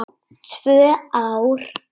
Tvö ár!